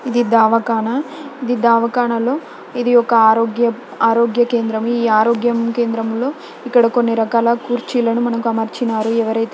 ఇది ధావ కాన ఇది ధావ కాన లో ఇది ఒక ఆరోగ్య ఆరోగ్య కేంద్రం ఈ ఆరోగ్య కేంద్రం లో ఇక్కడ కొన్ని రకాల కుర్చీలను మనకు అమర్చినారు ఎవరైతే--